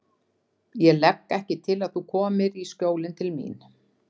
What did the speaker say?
Ég legg ekki til að þú komir í Skjólin til mín.